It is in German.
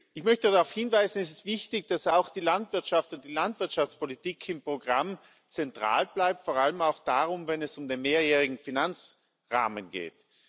Ich möchte darauf hinweisen, dass es wichtig ist, dass auch die Landwirtschaft und die Landwirtschaftspolitik im Programm zentral bleiben, vor allem auch dann, wenn es um den mehrjährigen Finanzrahmen geht.